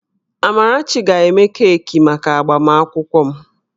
Amarachi ga-eme keeki maka agbamakwụkwọ m